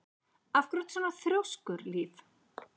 Af hverju ertu svona þrjóskur, Líf?